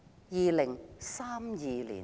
2032年。